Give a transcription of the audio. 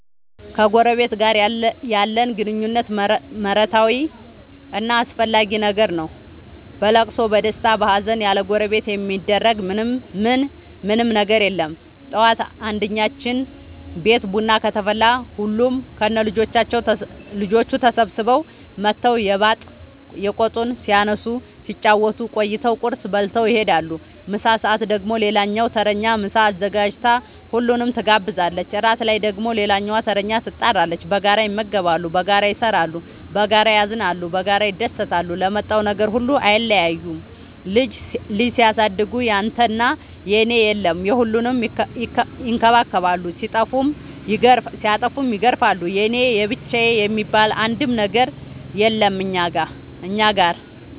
ከጎረበት ጋር ያለን ግንኙነት መረታዊ እና አስፈላጊ ነገር ነው። በለቅሶ በደስታ በሀዘን ያለጎረቤት የሚደረግ ምን ምንም ነገር የለም ጠዋት አንድኛችን ቤት ቡና ከተፈላ ሁሉም ከነ ልጆቹ ተሰብስበው መተው የባጥ የቆጡን ሲያነሱ ሲጫወቱ ቆይተው ቁርስ በልተው ይሄዳሉ። ምሳ ሰአት ደግሞ ሌላኛዋ ተረኛ ምሳ አዘጋጅታ ሁሉንም ትጋብዛለች። እራት ላይ ደግሞ ሌላኛዋተረኛ ትጣራለች። በጋራ ይመገባሉ በጋራ ይሰራሉ። በጋራ ያዝናሉ በጋራ ይደሰታሉ ለመጣው ነገር ሁሉ አይለያዩም ልጅ ሲያሳድጉ ያንተና የኔ የለም የሁሉንም ይከባከባሉ ሲጠፉም ይገርፋሉ የኔ የብቻዬ የሚባል አንድም ነገር የለም እኛ ጋር።